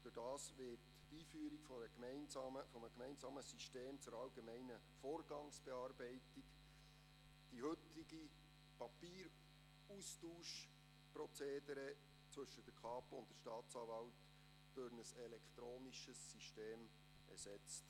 Durch die Einführung eines gemeinsamen Systems zur allgemeinen Vorgangsbearbeitung werden die heutigen Austauschprozedere auf Papier zwischen der Kapo und der Staatsanwaltschaft durch ein elektronisches System ersetzt.